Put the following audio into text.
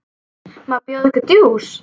Má bjóða okkur djús?